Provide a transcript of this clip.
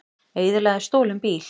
Eyðilagði stolinn bíl